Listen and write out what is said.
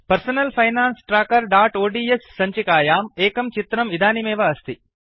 personal finance trackerओड्स् सञ्चिकायाम् एकं चित्रम् इदानीमेव अस्ति